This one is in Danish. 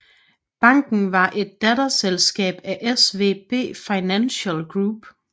Banken var et datterselskab af SVB Financial Group